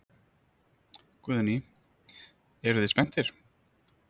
Guðný: Eruð þið spenntir?